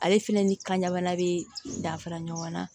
Ale fɛnɛ ni kanjabana be dafara ɲɔgɔn na